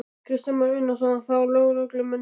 Kristján Már Unnarsson: Þá lögreglumennirnir?